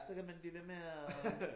Så kan man blive ved med at